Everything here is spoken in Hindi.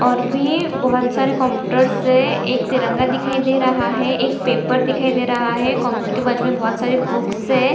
और भी बहुत सारे कंप्यूटर्स है एक तिरंगा दिखाई दे रहा है एक पेपर दिखाई दे रहा है कंप्यूटर के बाजू मे बहोत सारी बुक्स है।